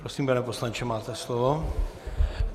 Prosím, pane poslanče, máte slovo.